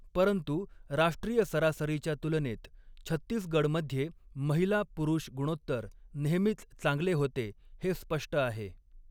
परंतु राष्ट्रीय सरासरीच्या तुलनेत छत्तीसगडमध्ये महिला पुरुष गुणोत्तर नेहमीच चांगले होते हे स्पष्ट आहे.